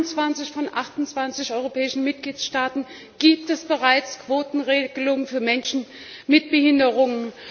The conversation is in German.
In 21 von 28 europäischen Mitgliedstaaten gibt es bereits eine Quotenregelung für Menschen mit Behinderungen.